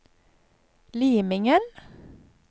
Limingen